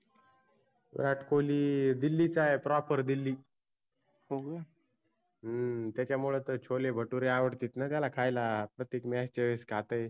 विराट कोल्ही दिल्लीचा आहे proper दिल्ली. हम्म त्याच्यामुळ तर छोले भटुरे आवडतेत ना त्याला खायला. प्रत्येक match च्या वेळेस खातय.